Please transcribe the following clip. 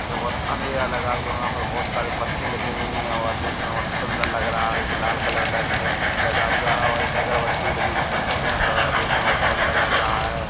बहोत अँधेरा लगा हुआ है वहाँ पर बहोत सारी बत्ती लगी हुई है और देखने में बहोत सुन्दर लग रहा है एक लाल कलर का इसमें लगा हुआ है और एक अगरबत्ती भी लगी है जिसमें से धुआँ अकड़ रहा है देखने में बहोत सुन्दर लग रहा है।